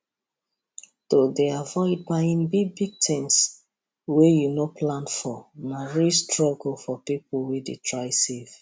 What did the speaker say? to dey avoid buying bigbig things wey you no plan for na real struggle for people wey dey try save